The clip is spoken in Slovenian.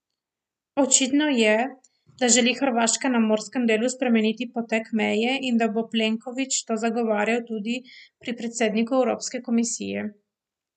Očitno je, da želi Hrvaška na morskem delu spremeniti potek meje in da bo Plenković to zagovarjal tudi pri predsedniku evropske komisije.